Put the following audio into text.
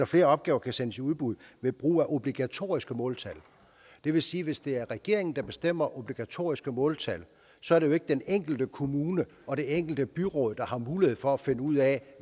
flere opgaver kan sendes i udbud ved brug af obligatoriske måltal det vil sige at hvis det er regeringen der bestemmer obligatoriske måltal så er det jo ikke den enkelte kommune og det enkelte byråd der har mulighed for at finde ud af